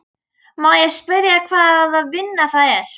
Má ég spyrja hvaða vinna það er?